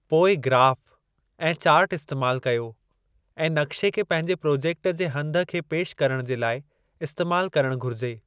पोइ, ग्राफ़ ऐं चार्टु इस्तेमाल कयो ऐं नक़्शे खे पंहिंजे प्रोजेक्ट जे हंधु खे पेशि करणु जे लाइ इस्तेमाल करणु घुरिजे।